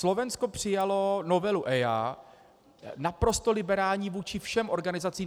Slovensko přijalo novelu EIA naprosto liberální vůči všem organizacím.